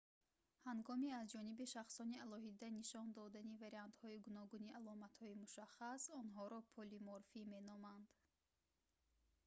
ҳангоми аз ҷониби шахсони алоҳида нишон додани вариантҳои гуногуни аломатҳои мушаххас онҳоро полиморфӣ меноманд